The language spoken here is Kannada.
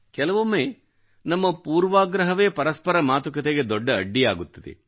ಕೆಲವೊಮ್ಮೆ ನಮ್ಮ ಪೂರ್ವಾಗ್ರಹವೇ ಪರಸ್ಪರ ಮಾತುಕತೆಗೆ ದೊಡ್ಡ ಅಡ್ಡಿಯಾಗುತ್ತದೆ